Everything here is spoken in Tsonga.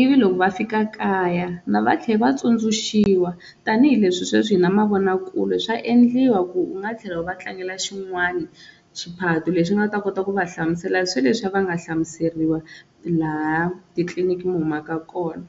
ivi loko va fika kaya va tlhela va tsundzuxiwa tanihileswi sweswi hi na mavonakule swa endliwa ku u nga tlhela u va tlangela xin'wana xiphato lexi nga ta kota ku va hlamusela sweleswi va nga hlamuseriwa laha titliniki mi humaka kona.